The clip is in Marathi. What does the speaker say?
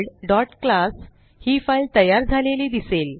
helloworldक्लास ही फाईल तयार झालेली दिसेल